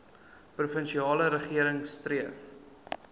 provinsiale regering streef